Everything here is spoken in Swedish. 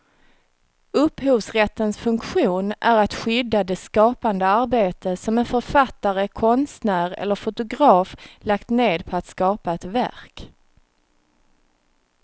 Upphovsrättens funktion är att skydda det skapande arbete som en författare, konstnär eller fotograf lagt ned på att skapa ett verk.